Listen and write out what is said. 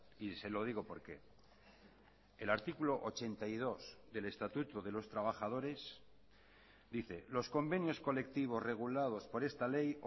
y se lo digo por qué el artículo ochenta y dos del estatuto de los trabajadores dice los convenios colectivos regulados por esta ley